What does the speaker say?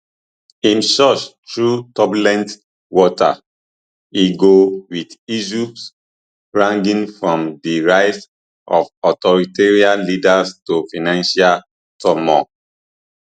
im church through turbulent waters e go wit issues ranging from di rise of authoritarian leaders to financial turmoil